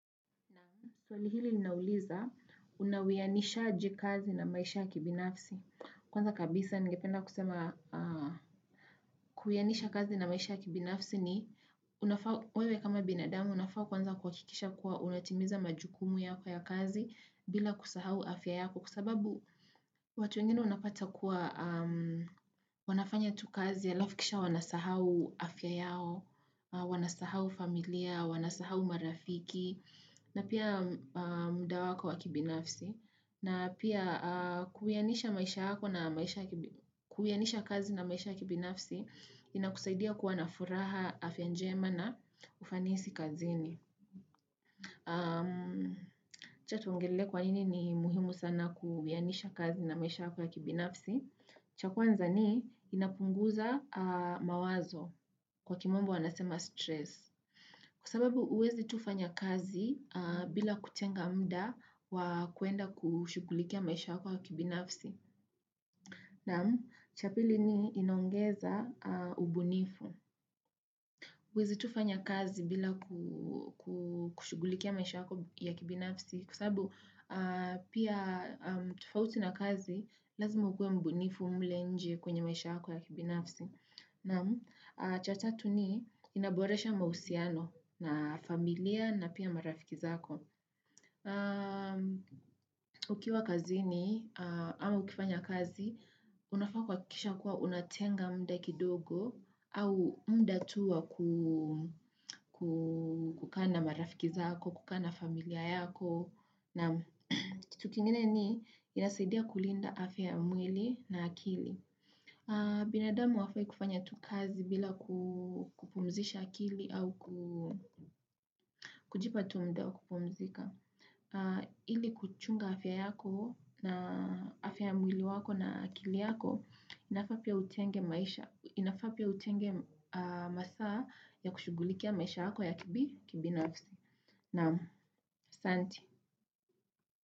Na tuwalihili ninauliza unawiyanisha jikazi na maisha kibinafsi. Kwanza kabisa nigependa kusema kuyanisha kazi na maisha kibinafsi ni wewe kama binadamu unafaa kwanza kuhakikisha kuwa unatimiza majukumu yako ya kazi bila kusahau afya yako kwa sababu watu wengine unapata kuwa wanafanya tu kazi alafu kisha wanasahau afya yao, wanasahau familia, wanasahau marafiki na pia muda wako wakibinafsi. Na pia kuwianisha kazi na maisha ya kibinafsi inakusaidia kuwa na furaha afya njema na ufanisi kazini. Acha tuongelee kwa nini ni muhimu sana kuwianisha kazi na maisha yako wakibinafsi. Cha kwanza ni inapunguza mawazo kwa kwa kiimombo wanasema stress. Kwa sababu huwezi tu fanya kazi bila kutenga muda wa kwenda kushughulikia maisha yako ya kibinafsi. Na cha pili ni inongeza ubunifu. Uwezi tufanya kazi bila kushugulikia maisha kwa kibinafsi. Kwa sababu pia tofauti na kazi lazima ukuwe mbunifu mle nje kwenye maisha kwa kibinafsi. Na cha tatu ni inaboresha mahusiano na familia na pia marafiki zako. Ukiwa kazini au ukifanya kazi, unafaa kuhakikisha kuwa unatenga muda kidogo au muda tu wa kukaa na marafiki zako, kukaa na familia yako. Na kitu kingine ni inasaidia kulinda afya ya mwili na akili. Binadamu hawafai kufanya tu kazi bila kupumzisha akili au kujipa tu muda wa kupumzika Ili kuchunga afya yako na afya mwili wako na akili yako inafaa pia utenge maisha, inafaa pia utenge masaa ya kushughulikia maisha yako ya kibinafsi Naam, asanti.